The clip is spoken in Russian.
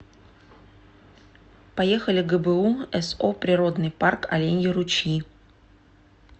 поехали гбу со природный парк оленьи ручьи